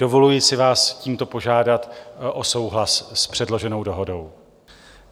Dovoluji si vás tímto požádat o souhlas s předloženou dohodöu.